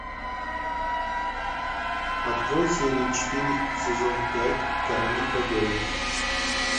открой серию четыре сезон пять короли победы